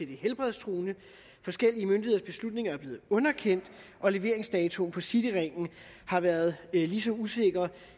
det helbredstruende forskellige myndigheders beslutninger er blevet underkendt og leveringsdatoen for cityringen har været lige så usikker